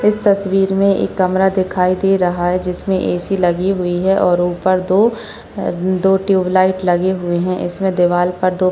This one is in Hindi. इस तस्वीर में एक कमरा दिखाई दे रहा है जिसमे ऐ.सी लगी हुई है और उपर दो अम दो टयूबलाइट लगी हुई है इसमें दीवार पर --